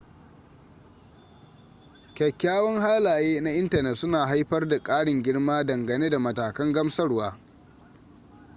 kyakyawan halaye na intanet suna haifar da karin girma dangane da matakan gamsarwa